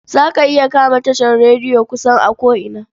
Za ka iya kama tashar rediyo kusan a ko'ina.